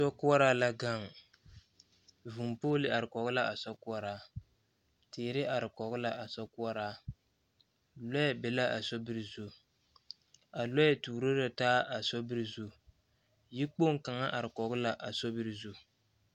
Sokoɔraa la gaŋ vūū pooli are kɔge la a sokoɔraa teere are kɔge la a sokoɔraa lɔɛ be la a sobiri zu a lɔɛ tuuro la taa a sobiri zu yikpoŋ kaŋ are kɔge la a sobiri zu.